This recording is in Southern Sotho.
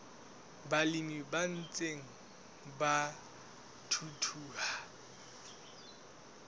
balemi ba ntseng ba thuthuha